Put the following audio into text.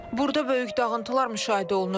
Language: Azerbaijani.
Burda böyük dağıntılar müşahidə olunur.